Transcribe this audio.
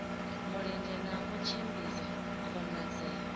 mulenzhe na u tshimbidza khonadzeo